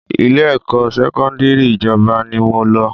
Ilé-ẹ̀kọ́ sẹ́kọ́ndírì ìjọba ni mo lọ